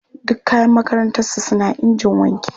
Duk kayan makarantarsu suna injin wanki.